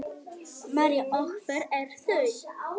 María: Og hver eru þau?